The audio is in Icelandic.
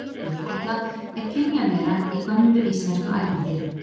Búkolla er kynjavera í gömlu íslensku ævintýri.